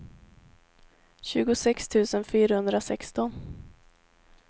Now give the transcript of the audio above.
tjugosex tusen fyrahundrasexton